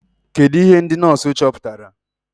Kedụ ihe ndị nọọsụ chọpụtara?